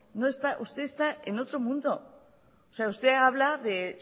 usted está en otro mundo o sea usted habla de